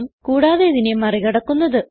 കൂടാതെ ഇതിനെ മറി കടക്കുന്നത്